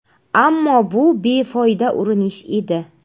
Ammo bu befoyda urinish edi.